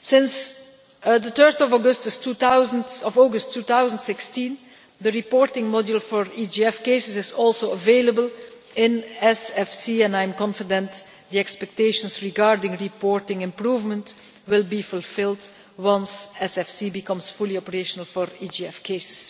Since 3 August 2016, the reporting module for EGF cases is also available in SFC and I am confident that the expectations regarding reporting improvement will be fulfilled once SFC becomes fully operational for EGF cases.